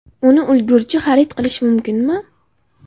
Uni ulgurji xarid qilish mumkinmi?